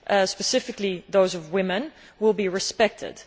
specifically those of women will be respected.